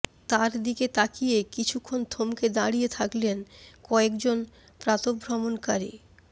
তার দিকে তাকিয়ে কিছুক্ষণ থমকে দাঁড়িয়ে থাকলেন কয়েকজন প্রাতঃভ্রমণকারী